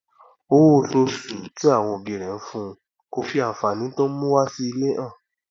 owó osoosù tí àwọn òbí rẹ ńfun kò fí ànfàní tóń mú wá sí ilé hàn